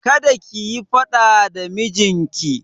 Kada kiyi faɗa da mijinki!